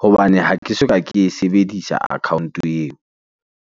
Hobane ha ke soka ke e sebedisa account-o eo.